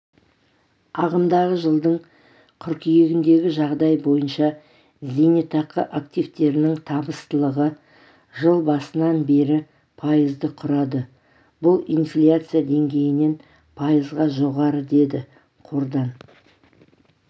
ағымдағы жылдың қыркүйегіндегіжағдай бойынша зейнетақы активтерінің табыстылығы жыл басынан бері пайызды құрады бұл инфляция деңгейінен пайызға жоғары деді қордан